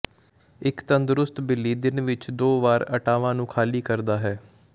ਇੱਕ ਤੰਦਰੁਸਤ ਬਿੱਲੀ ਦਿਨ ਵਿੱਚ ਦੋ ਵਾਰ ਆਟਾਵਾਂ ਨੂੰ ਖਾਲੀ ਕਰਦਾ ਹੈ